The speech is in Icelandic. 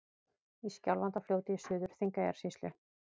Í Skjálfandafljóti í Suður-Þingeyjarsýslu.